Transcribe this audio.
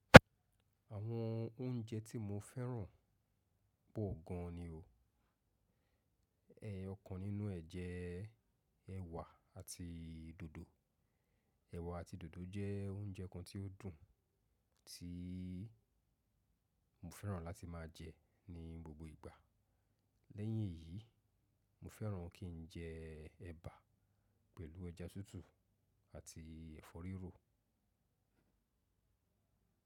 Àwọn oúnjẹ tí mo fẹ́ràn pọ̀ gan ni o. Ẹyọkan nínú ẹ̀ jẹ́ ẹ̀wà àti dòdò. Ẹ̀wà àti dòdò jẹ́ oúnjẹ kan tí ó dùn tí mo fẹ́ràn láti máa jẹ ní gbogbo ìgbà. Lẹ́yìn èyí, mo fẹ́ràn kí n jẹ ẹba pẹ̀lú ọjà tútù àti ẹ̀fọ́ rírò.